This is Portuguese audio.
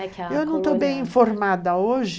Eu não estou bem informada hoje.